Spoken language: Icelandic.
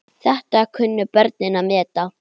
Þetta kunnu börnin að meta.